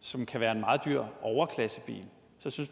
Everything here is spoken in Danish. som kan være en meget dyr overklassebil